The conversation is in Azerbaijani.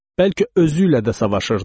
Bəlkə özü ilə də savaşırdı.